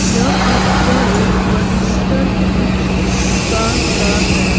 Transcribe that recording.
यह पिक्चर एक फर्नीचर की दुकान का है।